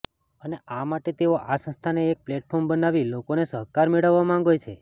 અને આ માટે તેઓ આ સંસ્થાને એક પ્લેટફોર્મ બનાવી લોકોનો સહકાર મેળવવા માંગે છે